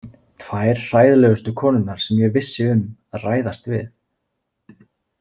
Tvær hræðilegustu konurnar sem ég vissi um að ræðast við.